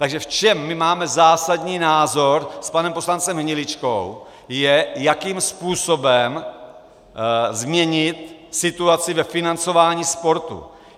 Takže v čem my máme zásadní rozpor s panem poslancem Hniličkou, je, jakým způsobem změnit situaci ve financování sportu.